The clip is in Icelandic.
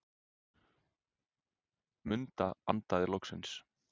Munda andaði loksins.